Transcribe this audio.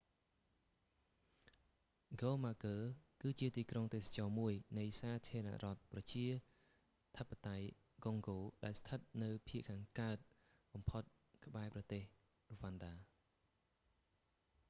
ហ្គូម៉ាគឺជាទីក្រុងទេសចរណ៍មួយនៃសាធារណរដ្ឋប្រជាធិបតេយ្យកុងហ្គោដែលស្ថិតនៅភាគខាងកើតបំផុតក្បែរប្រទេសរ្វ៉ាន់ដា